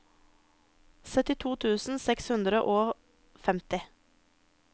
syttito tusen seks hundre og femti